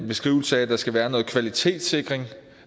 beskrivelse af at der skal være noget kvalitetssikring